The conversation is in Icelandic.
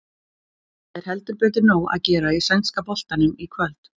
Það er heldur betur nóg að gera í sænska boltanum í kvöld.